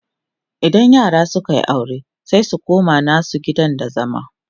idan yara sunyi aure sai su koma nasu gidan da zama